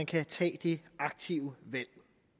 kan tage det aktive valg